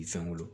Fɛn wolo